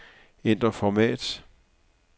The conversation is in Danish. Ændr format.